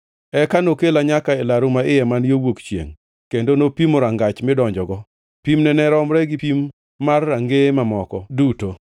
Eka nokela nyaka e laru maiye man yo wuok chiengʼ, kendo nopimo rangach midonjogo, pimne ne romre gi pim mar rangeye mamoko duto.